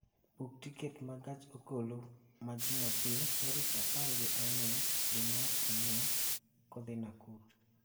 Bug tiket ma gach okoloma Jumapil tarik apar gi ang'wen dwe ma Ang'wen kodhi Nakuru